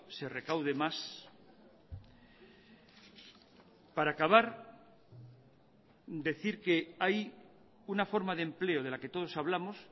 se recaude más para acabar decir que hay una forma de empleo de la que todos hablamos